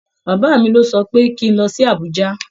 Bàbá mi lọ sọ pé kín lọ sí Abùjá.